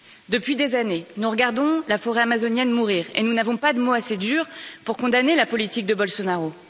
Depuis des années, nous regardons la forêt amazonienne mourir et nous n'avons pas de mots assez durs pour condamner la politique de Bolsonaro.